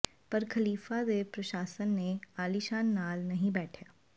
ਪਰ ਖਲੀਫ਼ਾ ਦੇ ਪ੍ਰਸ਼ਾਸਨ ਨੇ ਆਲੀਸ਼ਾਨ ਨਾਲ ਨਹੀਂ ਬੈਠਿਆ